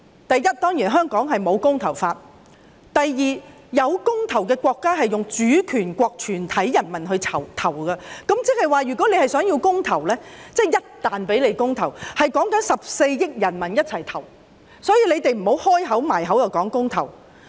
第一，香港並無"公投法"；第二，設有公投的國家是以主權國全體人民投票，也就是說，如果他們要進行公投，或一旦讓他們進行公投，便要14億人民一同投票，所以請他們不要常把公投掛在口邊。